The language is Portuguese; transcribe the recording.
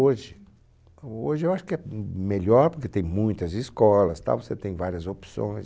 Hoje, o hoje eu acho que é melhor, porque tem muitas escolas, tal, você tem várias opções.